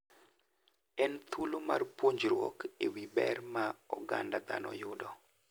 En thuolo mar puonjruok e wi ber ma oganda dhano yudo.